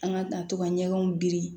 An ka tato ka ɲɛgɛnw biri